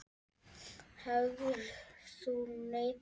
Hefðir þú neitað?